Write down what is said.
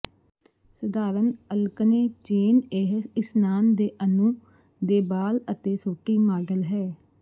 ਸਧਾਰਨ alkane chain ਇਹ ਇਸ਼ਨਾਨ ਦੇ ਅਣੂ ਦੇ ਬਾਲ ਅਤੇ ਸੋਟੀ ਮਾਡਲ ਹੈ